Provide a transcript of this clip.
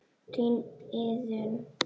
Þín Iðunn.